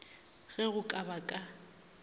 ge go ka ba ka